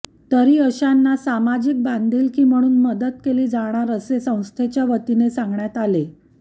तरी अशांना सामाजिक बांधिलकी म्हणून मदत केली जाणार असे संस्थेच्या वतीने सांगण्यात आले